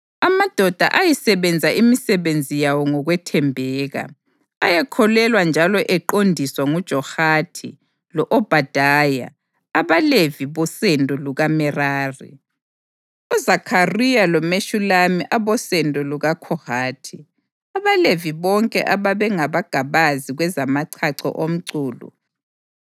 Amadoda ayisebenza imisebenzi yawo ngokwethembeka. Ayekhokhelwa njalo eqondiswa ngoJahathi lo-Obhadaya, abaLevi bosendo lukaMerari, uZakhariya loMeshulami abosendo lukaKhohathi. AbaLevi bonke ababengamagabazi kwezamachacho omculo,